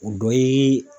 O dɔ ye